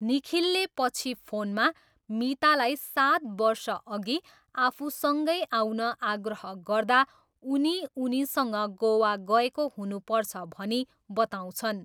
निखिलले पछि फोनमा मीतालाई सात वर्षअघि आफूसँगै आउन आग्रह गर्दा उनी उनीसँग गोवा गएको हुनुपर्छ भनी बताउँछन्।